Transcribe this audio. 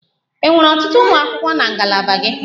Enwere ọtụtụ ụmụ akwụkwọ na ngalaba gị?